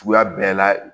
Suguya bɛɛ la